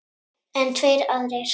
En tveir aðrir